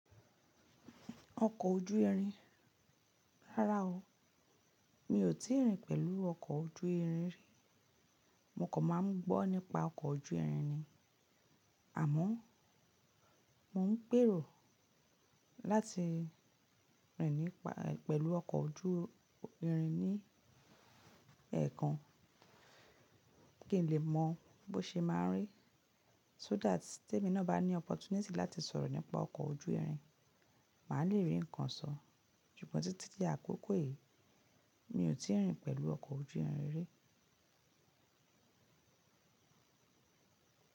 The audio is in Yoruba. Ọkọ̀ ojú irin. Rárá o, mi ò tíì rìn pẹ̀lú ọkọ̀ ojú irin rí. Mo kò máa ń gbọ́ nípa ọkọ̀ ojú irin ni. Àmọ́, mò ń gbèrò láti rìn nípa-- pẹ̀lú ọkọ̀ ojú irin ní ẹ̀ẹ̀kan kí n lè mọ bó ṣe máa rí. So that, tí èmi náà bá ní opportunity láti sọ̀rọ̀ nípa ọkọ̀ ojú irin, màá le rí ǹkan sọ. Ṣùgbọ́n títí di àkókò yìí, mi ò tíì rìn pẹ̀lú ọkọ̀ ojú irin rí.